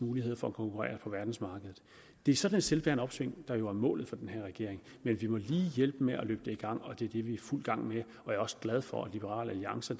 muligheder for at konkurrere på verdensmarkedet det er sådan et selvbærende opsving der jo er målet for den her regering men vi må lige hjælpe dem med at løbe det i gang og det er det vi er i fuld gang med jeg er også glad for at liberal alliance